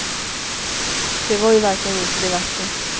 Det var ju verkligen inte det värsta.